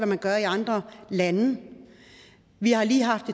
man gør i andre lande vi har lige haft